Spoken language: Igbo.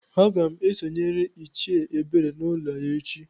Agam esonyere Ichie Ebere n'ulo ya echi.